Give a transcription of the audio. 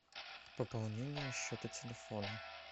пополнение счета телефона